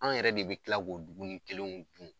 Anw yɛrɛ de be kila k'o duguni kelen dun.